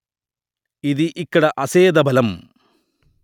ఇది ఇక్కడ అసేధ బలం